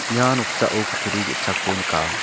ia noksao kutturi ge·sako nika.